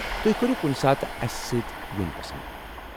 تُہۍ کٔرِو کُنہِ ساتہٕ اسہِ سۭتۍ یُن پسنٛد؟